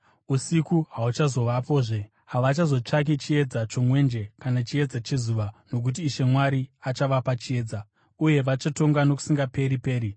Usiku hahuchazovapozve. Havachazotsvaki chiedza chomwenje kana chiedza chezuva, nokuti Ishe Mwari achavapa chiedza. Uye vachatonga nokusingaperi-peri.